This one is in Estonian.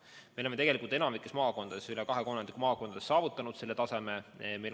Ja me oleme tegelikult enamikus maakondades, rohkem kui kahes kolmandikus maakondades saavutanud selle taseme.